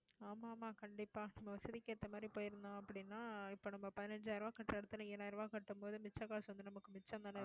ஆமா ஆமா கண்டிப்பா நம்ம வசதிக்கு ஏத்த மாதிரி, போயிருந்தோம் அப்படின்னா இப்ப நம்ம பதினஞ்சாயிரம் ரூபாய் கட்டுற இடத்துல ஏழாயிரம் ரூபாய் கட்டும் போது மிச்ச காசு வந்து நமக்கு மிச்சம்தானே